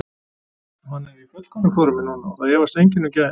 Hann er í fullkomnu formi núna og það efast enginn um gæðin.